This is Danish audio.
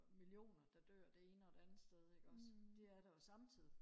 og millioner der dør det ene og det andet sted ikke også det er der jo samtidig